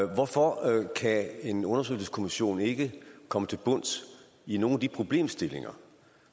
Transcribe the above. hvorfor kan en undersøgelseskommission ikke komme til bunds i nogle af de problemstillinger